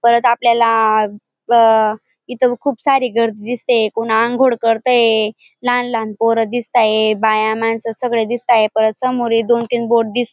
परत आपल्याला ब इथ खूप सारी गर्दी दिसतिये कोण आंघोळ करतंय लहान लहान पोर दिसताए बाया मानस सगळे दिसताए परत समोर हे दोन तीन बोर्ड --